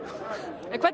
en hvernig